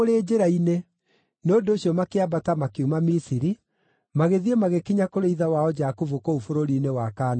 Nĩ ũndũ ũcio makĩambata makiuma Misiri, magĩthiĩ magĩkinya kũrĩ ithe wao Jakubu kũu bũrũri-inĩ wa Kaanani.